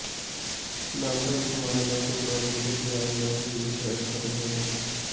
ਨਾਮਧਾਰੀ ਸਮਾਜ ਦਾ ਕੁਰਬਾਨੀ ਅਤੇ ਤਿਆਗ ਵਾਲਾ ਯੁਗ ਸ਼ਾਇਦ ਖਤਮ ਹੋ ਗਿਆ ਹੈ